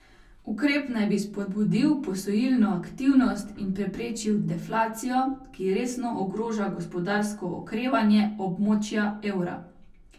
Ukrep naj bi spodbudil posojilno aktivnost in preprečil deflacijo, ki resno ogroža gospodarsko okrevanje območja evra.